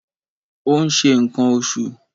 Ó ń ṣe ǹkan oṣù.